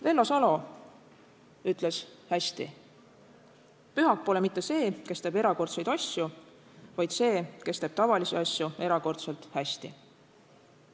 Vello Salo ütles hästi: "Pühak pole mitte see, kes teeb erakordseid asju, vaid see, kes teeb tavalisi asju erakordselt hästi.